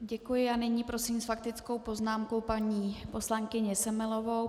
Děkuji a nyní prosím s faktickou poznámkou paní poslankyni Semelovou.